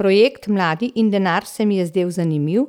Projekt Mladi in denar se mi je zdel zanimiv,